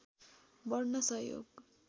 बढ्न सहयोग